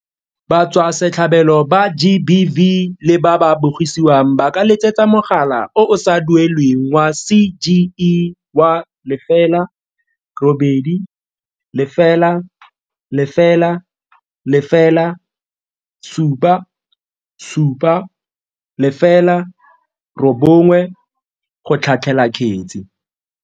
Batswasetlhabelo ba GBV le ba ba bogisiwang ba ka letsetsa mogala o o sa duelelweng wa CGE wa 0800 007 709 go tlhatlhela kgetse.